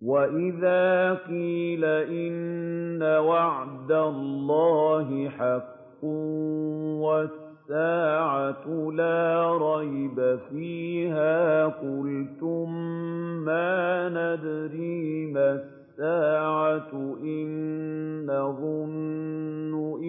وَإِذَا قِيلَ إِنَّ وَعْدَ اللَّهِ حَقٌّ وَالسَّاعَةُ لَا رَيْبَ فِيهَا قُلْتُم مَّا نَدْرِي مَا السَّاعَةُ إِن نَّظُنُّ